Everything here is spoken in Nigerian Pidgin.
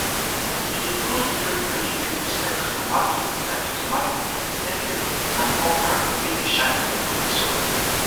we dey grow different vegetables like tomato like tomato pepper and okra wey dey shine for loamy soil